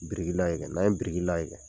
Biriki layɛlɛ n'an ye biriki layɛlɛ.